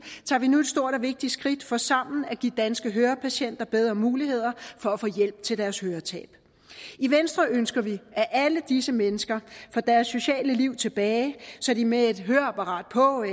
tager vi nu et stort og vigtigt skridt for sammen at give danske hørepatienter bedre muligheder for at få hjælp til deres høretab i venstre ønsker vi at alle disse mennesker får deres sociale liv tilbage så de med et høreapparat på